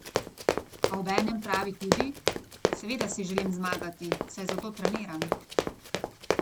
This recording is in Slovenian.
A obenem pravi tudi: "Seveda si želim zmagati, saj zato treniram.